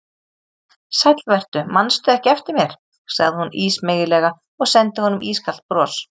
Sæll vertu, mannstu ekki eftir mér sagði hún ísmeygilega og sendi honum ískalt bros.